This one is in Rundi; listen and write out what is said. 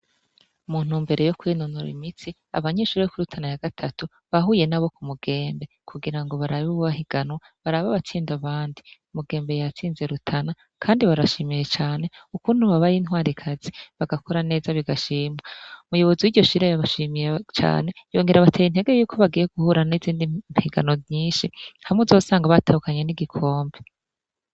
Mu ntumbero yo kwinonora imitsi abanyeshure bo kuri Rutana ya gatatu bahuye nabo ku Mugembe kugira ngo barabe bahiganwa barabe abatsinda abandi, Mugembe yatsinze Rutana, kandi barashimiye cane ukuntu babaye intwarikazi bagakora neza bigashimwa, umuyobozi w'iryo shure yabashimiye cane yongera abatera intege yuko bagiye guhura n'izindi higanwa nyinshi hamwe uzosanga batahukanye n'igikombe.